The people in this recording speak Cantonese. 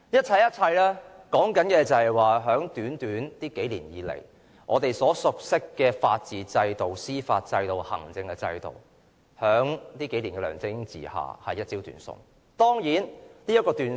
這一切所說的就是在這短短數年以來，我們所熟悉的法治制度、司法制度、行政制度，在梁振英的管治下一朝斷送。